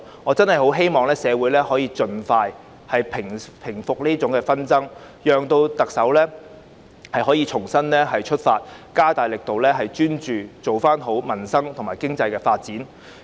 我真的很希望社會現時的紛爭可以盡快平息，讓特首可以重新出發，加大力度，專注做好改善民生和發展經濟的工作。